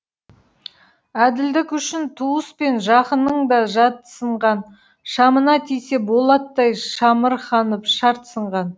әділдік үшін туыс пен жақының да жатсынған шамына тисе болаттай шамырқанып шарт сынған